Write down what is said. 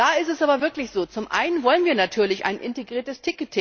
Da ist es aber wirklich so Zum einen wollen wir natürlich ein integriertes